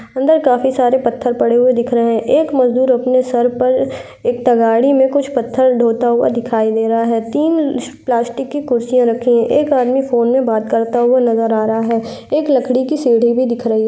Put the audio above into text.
अंदर काफी सारा पत्थर पड़े हुये दिख रहे हैं। एक मजदूर अपने सर पर एक तगाड़ी में कुछ पत्थर ढ़ोता हुआ दिखाई दे रहा है। तीन प्लास्टिक की कुर्सियां रखी हैं एक आदमी फोन में बात करता हुआ नज़र आ रहा है एक लकड़ी की सीढ़ी भी दिख रही है।